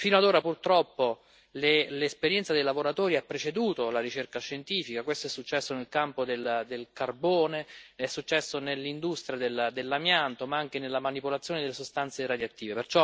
Fino ad ora, purtroppo, l'esperienza dei lavoratori ha preceduto la ricerca scientifica questo è successo nel campo del carbone, è successo nell'industria dell'amianto ma anche nella manipolazione delle sostanze radioattive.